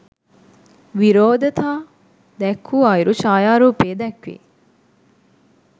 විරෝධතා දැක්වූ අයුරු ඡායාරූපයේ දැක්වේ